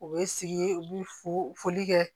U bɛ sigi u bɛ fo foli kɛ